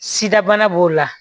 Sida bana b'o la